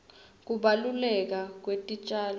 kubaluleka kwetitjalo